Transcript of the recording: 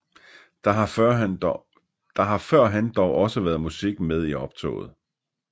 Der har førhen dog også været musik med i optoget